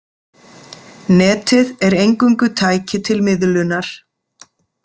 Netið er eingöngu tæki til miðlunar.